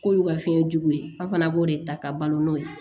K'olu ka fiɲɛ juguya an fana b'o de ta ka balo n'o ye